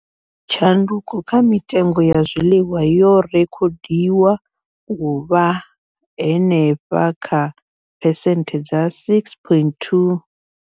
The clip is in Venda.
Tshanduko kha mitengo ya zwiḽiwa yo rekhodiwa u vha henefha kha phesenthe dza 6.2.